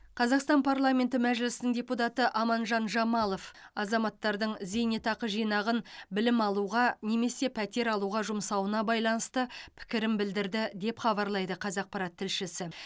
қазақстан парламенті мәжілісінің депутаты аманжан жамалов азаматтардың зейнетақы жинағын білім алуға немесе пәтер алуға жұмсауына байланысты пікірін білдірді деп хабарлайды қазақпарат тілшісі